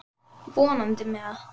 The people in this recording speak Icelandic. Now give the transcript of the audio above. Leirinn stíflar göt og þéttir.